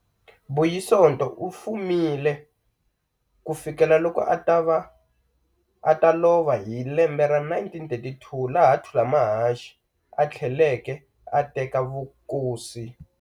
Buyisonto ufumile kufikela loko ata lova hi lembe ra 1932, laha Thulamahashe a thleleke a teka vukosi.